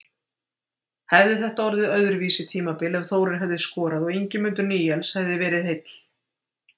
Hefði þetta orðið öðruvísi tímabil ef Þórir hefði skorað og Ingimundur Níels hefði verið heill?